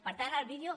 per tant el vídeo